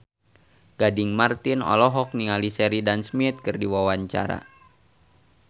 Gading Marten olohok ningali Sheridan Smith keur diwawancara